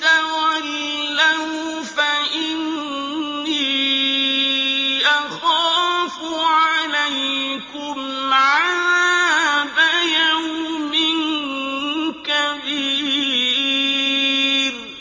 تَوَلَّوْا فَإِنِّي أَخَافُ عَلَيْكُمْ عَذَابَ يَوْمٍ كَبِيرٍ